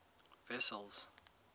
wessels